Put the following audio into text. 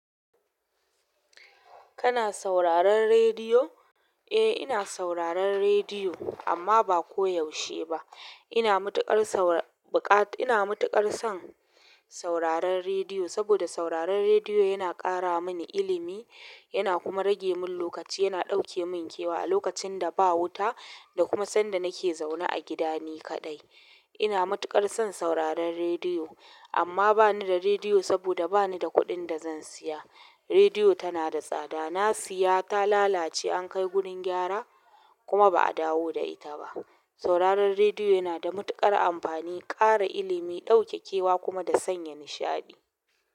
Kana sauraron rediyo? Eh, ina sauraron rediyo amma ba koyaushe ba. Ina matuƙar saur buka ina matuƙar son sauraron rediyo saboda sauraron rediyo yana ƙara mini ilimi, yana kuma rage min lokaci, yana ɗauke min kewa a lokacin da ba wuta da kuma sanda nake zaune a gidani kaɗai. Ina matuƙar son sauraron rediyo amma bani da rediyo saboda bani da kuɗin da zan siya. Rediyo tana da tsada. Na siya ta lalace, an kai gurin gyara kuma ba a dawo da ita ba. Sauraron rediyo yana da matuƙar amfani, ƙara ilimi, ɗauke kewa kuma da sanya nishaɗi.